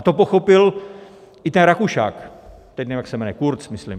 A to pochopil i ten Rakušan, teď nevím, jak se jmenuje, Kurz myslím.